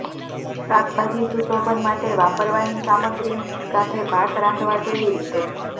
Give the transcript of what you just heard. શાકભાજી સુશોભન માટે વાપરવાની સામગ્રી સાથે ભાત રાંધવા કેવી રીતે